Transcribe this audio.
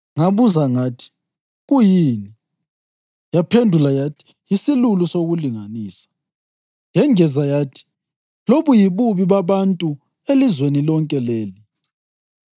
Ngabuza ngathi, “Kuyini?” Yaphendula yathi, “Yisilulu sokulinganisa.” Yengeza yathi, “Lobu yibubi babantu elizweni lonke leli.”